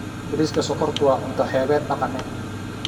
Bariiska sokortu waa cunto xeebeed dhaqameed.